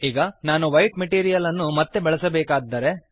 ಈಗ ನಾನು white material ಅನ್ನು ಮತ್ತೆ ಬಳಸಬೇಕಾಗಿದ್ದರೆ